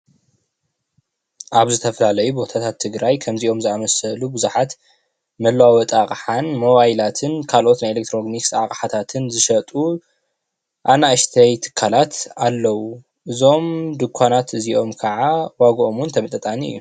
ኣብ ዝተፈላለዩ ቦታታት ትግራይ ከምዚኦም ዝኣመሰሉ ብዙሓት መለዋወጢ ኣቕሓን ሞባይላትን ካልኦት ናይ ኤሌክትሮኒክስ ኣቓሕታትን ዝሸጡ ኣናእሽተይ ትካላት ኣለው። እዞም ድንኳናት እዚኦም ከዓ ዋጋኦም እውን ተመጣጣኒ እዮም።